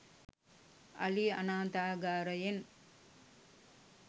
අලි අනාථාගාරයෙන්